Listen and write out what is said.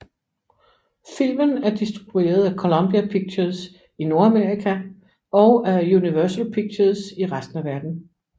Filmen er distruberet af Columbia Pictures i Nordamerika og af Universal Pictures i resten af verdenen